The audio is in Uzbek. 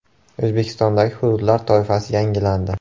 O‘zbekistondagi hududlar toifasi yangilandi.